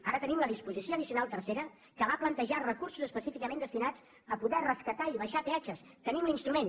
ara tenim la disposició addicional tercera que va plantejar recursos específicament destinats a poder rescatar i abaixar peatges tenim l’instrument